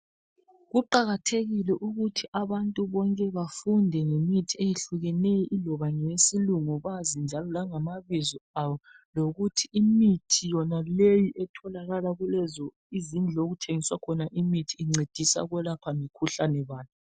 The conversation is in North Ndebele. Kuqakathekile ukuthi abantu bonke bafunde ngemithi eyehlukeneyo iloba ngeyesilungu bazi njalo langama bizo awo, lokuthi imithi yonaleyi etholakala kulezo izindlu okuthengiswa khona imithi incedisa ukwelapha mikhuhlane bani.